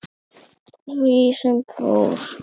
Því fór sem fór.